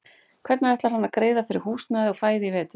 Hvernig ætlar hann að greiða fyrir húsnæði og fæði í vetur?